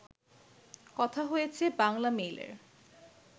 কথা হয়েছে বাংলামেইলের